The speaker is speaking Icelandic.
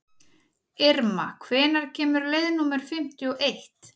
Irma, hvenær kemur leið númer fimmtíu og eitt?